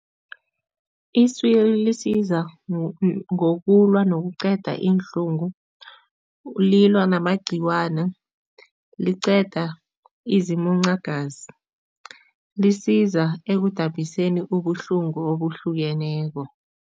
Iswiri lisiza ngokulwa nokuqeda iinhlungu, lilwa namagciwana, liqeda izimuncagazi, lisiza ekudabhiseni ubuhlungu obuhlukeneko.